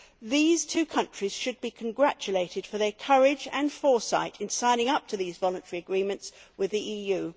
These two countries should be congratulated for their courage and foresight in signing up to these voluntary agreements with the EU.